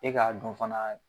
E k'a dɔn fana.